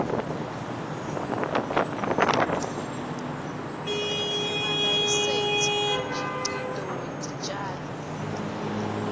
nemalayisensi umkhicito wetitjalo